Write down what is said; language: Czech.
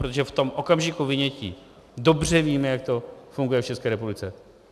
Protože v tom okamžiku vynětí dobře víme, jak to funguje v České republice.